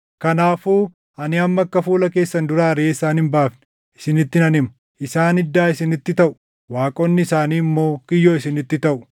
Kanaafuu ani amma akka fuula keessan duraa ariʼee isaan hin baafne isinitti nan hima; isaan iddaa isinitti taʼu; waaqonni isaanii immoo kiyyoo isinitti taʼu.”